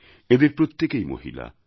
এঁদের প্রত্যেকেই মহিলা